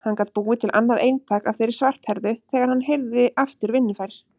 Hann gat búið til annað eintak af þeirri svarthærðu þegar hann yrði aftur vinnufær.